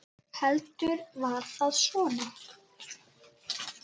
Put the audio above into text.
Heldur var það svona!